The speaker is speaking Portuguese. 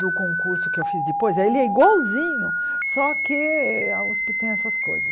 do concurso que eu fiz depois, ele é igualzinho, só que a Uso tem essas coisas.